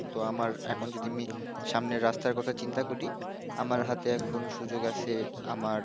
তো আমার এখন যদি আমি সামনের রাস্তার কথা চিন্তা করি, আমার হাতে এখন সুযোগ আসে, আমার,